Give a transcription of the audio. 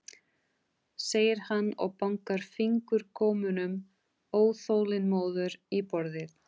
segir hann og bankar fingurgómunum óþolinmóður í borðið.